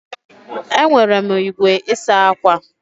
Enwere m igwe isa akwa.